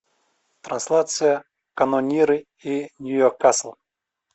трансляция канониры и ньюкасл